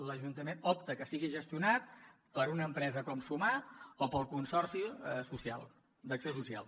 l’ajuntament opta que sigui gestionat per una empresa com sumar o pel consorci d’acció social